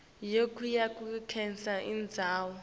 kuyo yonkhe indzawo